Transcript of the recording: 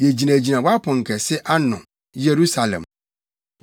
Yegyinagyina wʼaponkɛse ano, Yerusalem.